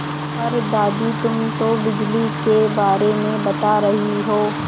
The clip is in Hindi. पर दादी तुम तो बिजली के बारे में बता रही हो